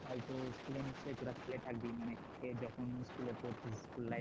হয়তো school নিশ্চয়ই তোরা খেলে থাকবে মানে যখন school পড়তি